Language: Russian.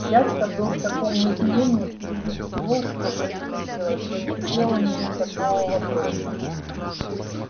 дядька был в таком изумлении при виде всего что происходило что не сделал мне никакого вопроса